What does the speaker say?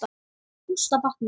Gústa batnar.